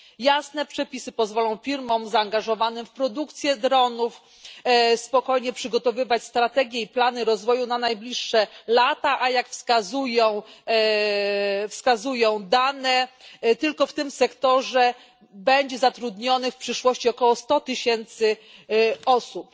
Jasne przepisy pozwolą firmom zaangażowanym w produkcję dronów spokojnie przygotowywać strategie i plany rozwoju na najbliższe lata, a, jak wskazują dane, tylko w tym sektorze będzie zatrudnionych w przyszłości około 100 tysięcy osób.